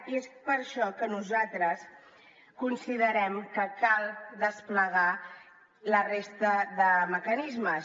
i és per això que nosaltres considerem que cal desplegar la resta de mecanismes